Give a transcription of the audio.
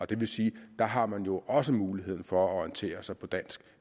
det vil sige at der har man jo også mulighed for at orientere sig på dansk